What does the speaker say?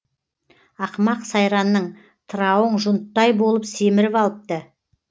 ақымақ сайранның тырауың жұнттай болып семіріп алыпты